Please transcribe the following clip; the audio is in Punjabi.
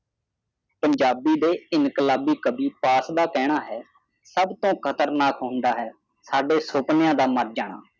ਪੰਜਾਬੀ ਦੇ ਇਨਕਲਾਬੀ ਕਾਵਿ ਪਾਠ ਦਾ ਕਾਣਾ ਹੈ ਸਬ ਤੋਂ ਖ਼ਤਰਨਾਕ ਹੁੰਦਾ ਹੈ ਸਾਡੇ ਸੁਪਨਿਆਂ ਦਾ ਮਾਰ ਜਾਣਾ